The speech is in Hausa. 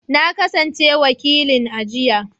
Na kasance wakilin aji.